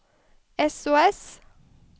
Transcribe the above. sos